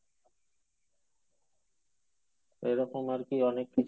এরকম আরকি অনেক